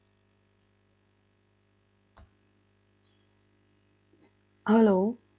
Hello